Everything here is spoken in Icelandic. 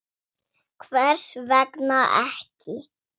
Hvers vegna ekki?